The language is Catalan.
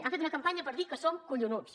han fet una campanya per dir que som collonuts